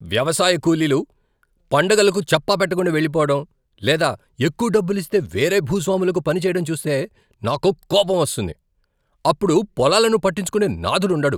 వ్యవసాయ కూలీలు పండగలకు చెప్పాపెట్టకుండా వెళ్లిపోవడం లేదా ఎక్కువ డబ్బులిస్తే వేరే భూస్వాములకు పని చేయడం చూస్తే నాకు కోపం వస్తుంది. అప్పుడు పొలాలను పట్టించుకునే నాథుడు ఉండడు.